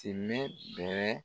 bɛɛ